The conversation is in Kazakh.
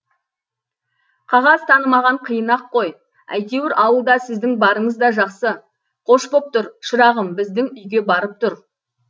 қағаз танымаған қиын ақ қой әйтеуір ауылда сіздің барыңыз да жақсы қош боп тұр шырағым біздің үйге барып тұр